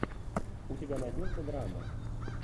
у тебя найдется драма